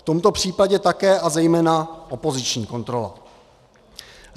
V tomto případě také a zejména opoziční kontrola.